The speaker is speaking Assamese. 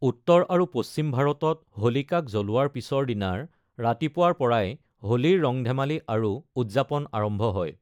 উত্তৰ আৰু পশ্চিম ভাৰতত হোলিকাক জ্বলোৱাৰ পিছৰ দিনাৰ ৰাতিপুৱাৰ পৰাই হোলীৰ ৰং-ধেমালি আৰু উদযাপন আৰম্ভ হয়।